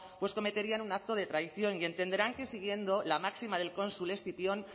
pues cometerían un acto de traición y entenderán que siguiendo la máxima del cónsul escipión